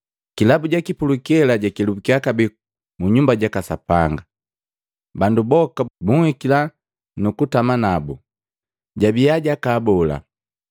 Kilabu jaki pulukela jakelubukiya kabee mu Nyumba jaka Sapanga. Bandu boka bunhikila nukutama nabu, jabiya jakaabola.